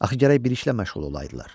Axı gərək bir işlə məşğul olaydılar.